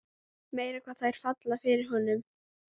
Meira hvað þær falla fyrir honum!